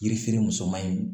Yiri feere musoman in